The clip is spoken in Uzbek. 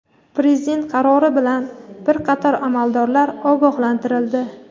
Prezident qarori bilan bir qator amaldorlar ogohlantirildi.